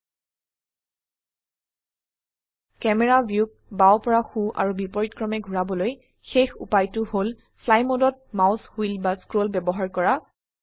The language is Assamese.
ক্যামেৰা ভিউক বাও পৰা সো আৰু বিপৰীতক্ৰমে ঘোৰাবলৈ শেষ উপায়টো হল ফ্লাই মোডত মাউস হুইল বা স্ক্ৰল ব্যবহাৰ কৰা